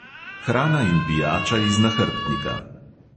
Hrana in pijača iz nahrbtnika.